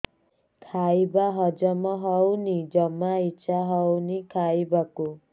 ଖାଇବା ହଜମ ହଉନି ଜମା ଇଛା ହଉନି ଖାଇବାକୁ